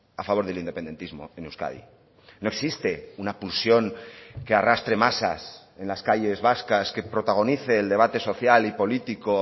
a favor del independentismo en euskadi no existe una pulsión que arrastre masas en las calles vascas que protagonice el debate social y político